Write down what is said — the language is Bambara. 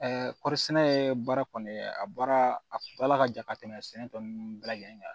kɔɔri sɛnɛ baara kɔni a baara a baara ka jan ka tɛmɛ sɛnɛ tɔ nunnu bɛɛ lajɛlen kan